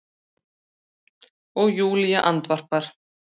og Júlía andvarpar.